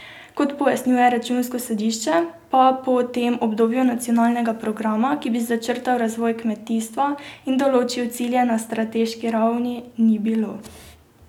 Kot pojasnjuje Računsko sodišče, pa po tem obdobju nacionalnega programa, ki bi začrtal razvoj kmetijstva in določil cilje na strateški ravni, ni bilo.